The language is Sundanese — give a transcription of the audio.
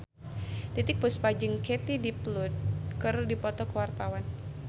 Titiek Puspa jeung Katie Dippold keur dipoto ku wartawan